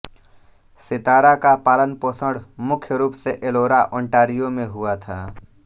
सितारा का पालनपोषण मुख्य रूप से एलोरा ओंटारियो में हुआ था